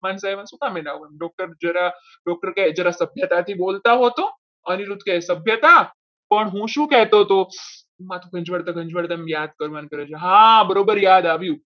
doctor જરા doctor કહે કે જરા સભ્યતાથી બોલતા હોવ તો અનિરુદ્ધ કહી સભ્યતા પણ હું શું કહેતો હતો હા બરોબર યાદ આવ્યું.